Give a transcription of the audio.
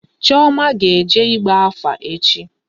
Chioma will go for divination tomorrow